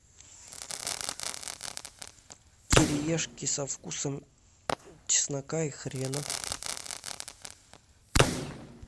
кириешки со вкусом чеснока и хрена